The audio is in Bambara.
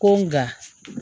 Ko nka